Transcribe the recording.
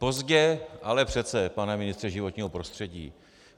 Pozdě, ale přece, pane ministře životního prostředí.